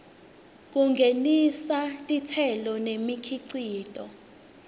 kungenisa titselo nemikhicito